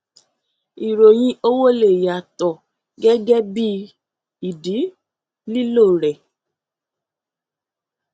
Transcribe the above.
ìròyìn owó lè yàtọ gẹgẹ bí ìdí lílo rẹ